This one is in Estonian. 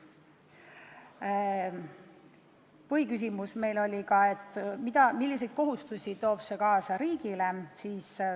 Meie põhiküsimus oli, milliseid kohustusi toob see kaasa Eesti riigile.